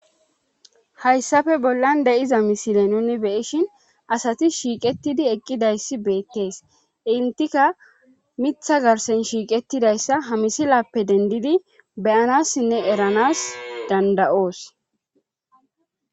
Hayssafe bollan de7iza misile nuni beyishin asati shiiqettidi eqqidayssi beettees intika mitha garsen shiiqettidayssa ha misilappe dendidi beyanassinne eranas danda7oos.